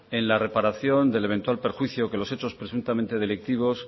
en la reparación del eventual perjuicio que los hechos presuntamente delictivos